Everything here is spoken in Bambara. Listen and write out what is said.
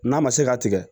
N'a ma se ka tigɛ